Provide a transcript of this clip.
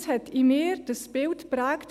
Das hat in mir das Bild geprägt: